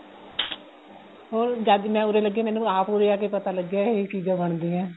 ਹੋਰ ਜਦ ਦੀ ਮੈਂ ਉਰੇ ਲਗੀ ਆ ਮੈਨੂੰ ਆਪ ਉਰੇ ਆ ਕੇ ਪਤਾ ਲੱਗਿਆ ਇਹ ਚੀਜ਼ਾਂ ਬਣਦੀਆ ਏ